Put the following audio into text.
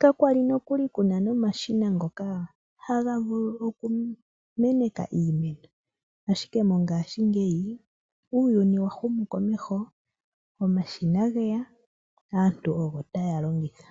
Kakwali nokuli kuna nomashina ngoka haga vulu okumeneka iimeno. Ashike mongaashingeyi, uuyuni wahumu komeho, omashina geya, aantu ogo taya longitha.